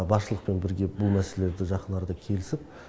басшылықпен бірге бұл мәселелерді жақын арада келісіп